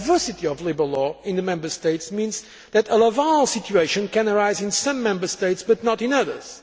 The diversity of labour law in the Member States means that a Laval situation can arise in some Member States but not in others.